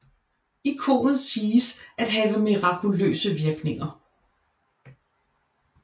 Ikonet siges at have mirakuløse virkninger